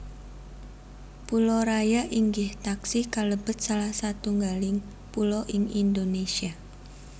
Pulo Raya inggih taksih kalebet salah satunggaling pulo ing Indonésia